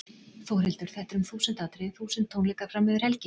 Þórhildur: Þetta er um þúsund atriði, þúsund tónleikar fram yfir helgi?